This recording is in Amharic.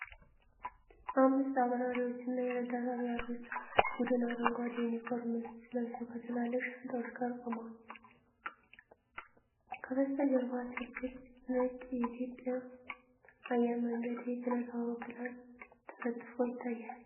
አምስት የአብራሪዎችና የረዳት አብራሪዎች ቡድን አረንጓዴ የዩኒፎርም ልብስ ለብሰው ከትላልቅ ሻንጣዎቻቸው ጋር ቆመዋል። ከበስተጀርባ ትልቅ ነጭ የኢትዮጵያ አየር መንገድ የጭነት አውሮፕላን ተለጥፎ ይታያል።